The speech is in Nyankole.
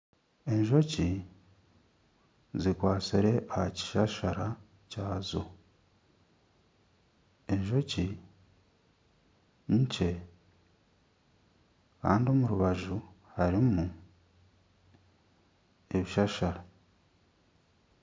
Enjoki zikwatsire aha kishashara kyazo , enjoki nkye kandi omu rubaju harimu ebishashara.